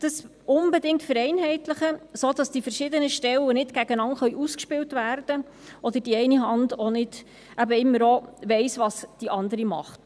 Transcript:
Vereinheitlichen Sie dies unbedingt, sodass die verschiedenen Stellen nicht gegeneinander ausgespielt werden können oder die eine Hand immer auch weiss, was die andere tut.